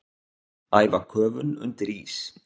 Æfa köfun undir ís